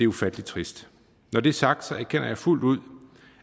ufattelig trist når det er sagt erkender jeg fuldt ud